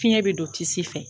Fiɲɛ bɛ don tisi fɛ.